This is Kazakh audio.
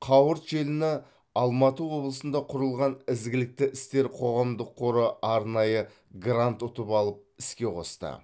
қауырт желіні алматы облысында құрылған ізгілікті істер қоғамдық қоры арнайы грант ұтып алып іске қосты